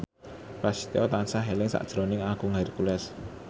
Prasetyo tansah eling sakjroning Agung Hercules